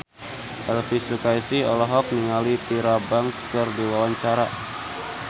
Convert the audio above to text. Elvi Sukaesih olohok ningali Tyra Banks keur diwawancara